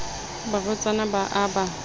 le barwetsana ba a ba